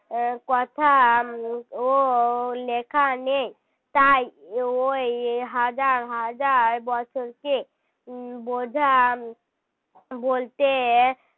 কথাও লেখা নেই তাই ওই হাজার হাজার বছরকে বোঝাবলতে